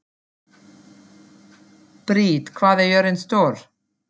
Briet, hvað er jörðin stór?